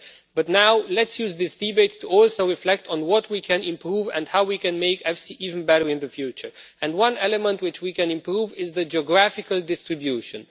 But now let us use this debate also to reflect on what we can improve and how we can make EFSI even better in the future. One element which we can improve is the geographical distribution.